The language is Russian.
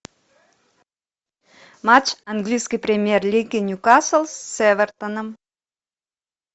матч английской премьер лиги ньюкасл с эвертоном